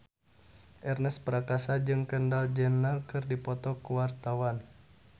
Ernest Prakasa jeung Kendall Jenner keur dipoto ku wartawan